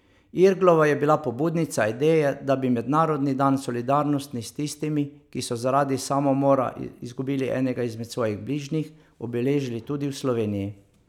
Irglova je bila pobudnica ideje, da bi mednarodni dan solidarnosti s tistimi, ki so zaradi samomora izgubili enega izmed svojih bližnjih, obeležili tudi v Sloveniji.